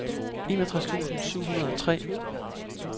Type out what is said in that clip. enogtres tusind syv hundrede og tre